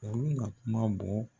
Olu ka kuma bɔ